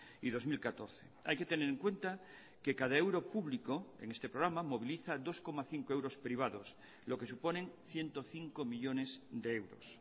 y dos mil catorce hay que tener en cuenta que cada euro público en este programa moviliza dos coma cinco euros privados lo que suponen ciento cinco millónes de euros